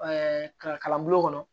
kalan bulon kɔnɔ